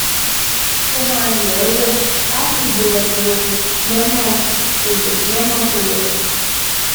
Ó máa yẹ ẹ́ wò, á sì bá ẹ lò lọ́nà ẹ lò lọ́nà tó yẹ